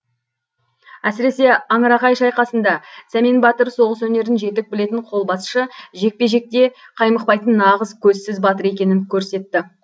әсіресе аңырақай шайқасында сәмен батыр соғыс өнерін жетік білетін қолбасшы жекпе жекте қаймықпайтын нағыз көзсіз батыр екенін көрсетті